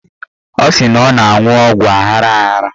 Ọ sị na ọ na-aṅụ ọgwụ aghara aghara